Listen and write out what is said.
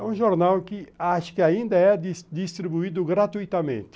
É um jornal que acho que ainda é dis distribuído gratuitamente.